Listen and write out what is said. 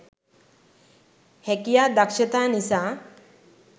හැකියා දක්‌ෂතා නිසා